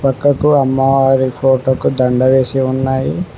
పక్కకు అమ్మవారి ఫోటోకు దండ వేసి ఉన్నాయి.